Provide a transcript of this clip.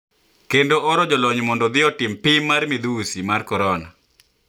Kendo oro jolony mondo odhi otim pim mar midhusi mar Korona